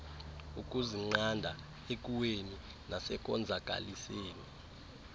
ukuzinqanda ekuweni nasekonzakaliseni